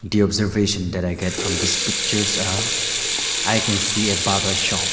the observation that i get from this pictures haa i can see a barber shop.